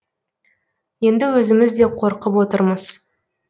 енді өзіміз де қорқып отырмыз